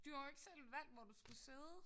Du har jo ikke selv valgt hvor du skulle sidde